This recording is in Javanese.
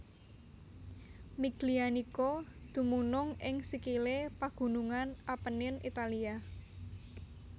Miglianico dumunung ing sikilé pagunungan Appenine Italia